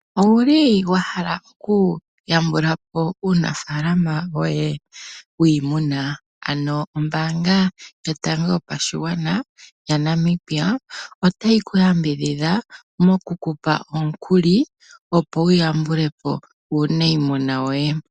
Owuli wa hala oku yambulapo uunafaalama woye wiimuna? Ano ombaanga yotango yopashigwana yaNamibia otayi ku yambidhidha mo kukupa omukuli, opo wu yambulepo uunayimuna woye.